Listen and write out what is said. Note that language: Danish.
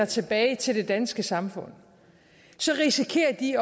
tilbage til det danske samfund så risikerer de